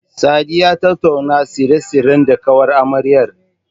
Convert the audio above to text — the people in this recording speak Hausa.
Sadi ya tattauna tsare-tsaren da ƙawar amaryar.